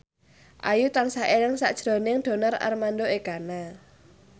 Ayu tansah eling sakjroning Donar Armando Ekana